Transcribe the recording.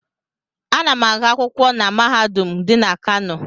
Ana m agụ akwụkwọ na mahadum dị na Kano.